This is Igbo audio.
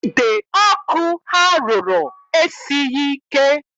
Ide ọkụ ha rụrụ, esighị ike